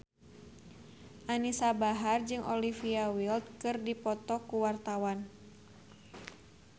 Anisa Bahar jeung Olivia Wilde keur dipoto ku wartawan